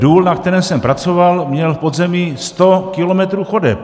Důl, na kterém jsem pracoval, měl v podzemí sto kilometrů chodeb.